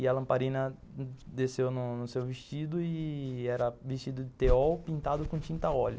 E a lamparina desceu no no seu vestido e era vestido de teol pintado com tinta óleo.